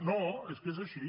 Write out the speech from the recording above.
no és que és així